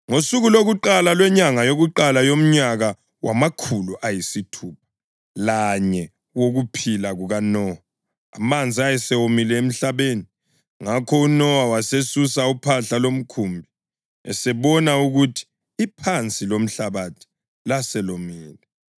Ngosuku lokuqala lwenyanga yokuqala yomnyaka wamakhulu ayisithupha lanye wokuphila kukaNowa, amanzi ayesomile emhlabeni. Ngakho uNowa wasesusa uphahla lomkhumbi esebona ukuthi iphansi lomhlabathi laselomile.